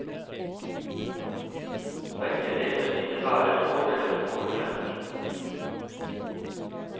Begge deler innebærer fordeler og ulemper.